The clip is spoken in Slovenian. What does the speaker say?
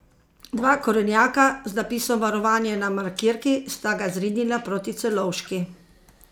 Dva korenjaka, z napisom varovanje na markirki, sta ga zrinila proti Celovški.